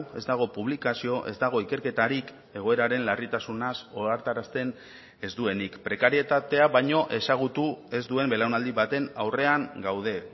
ez dago publikazio ez dago ikerketarik egoeraren larritasunaz ohartarazten ez duenik prekarietatea baino ezagutu ez duen belaunaldi baten aurrean gaude